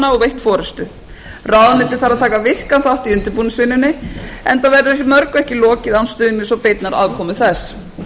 veitt forustu ráðuneytið þarf að taka virkan þátt í undirbúningsvinnunni enda verður mörgu ekki lokið án stuðning og beinnar aðkomu þess þar á